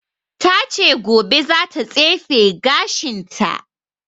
Ta ce gobe za ta tsefe gashin ta